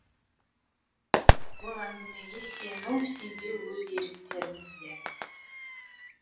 ол әңгімеге сену сенбеу өз еріктеріңізде